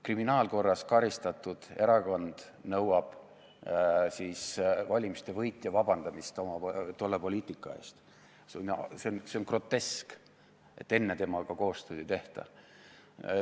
Kriminaalkorras karistatud erakond nõuab valimiste võitja vabandamist oma tolle poliitika eest – see on grotesk –, enne temaga koostööd ei tehta.